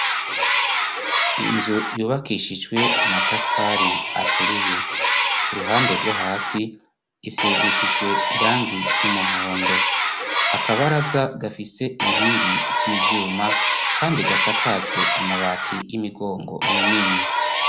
Inzu yubakishijwe amatafari aturiye uruhande rwohasi isigishijwe irangi ry'umuhondo akabaraza gafise inkingi z'ivyuma kandi gasakajwe amabati y'imigongo minini.